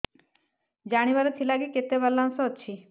ଜାଣିବାର ଥିଲା କି କେତେ ବାଲାନ୍ସ ଅଛି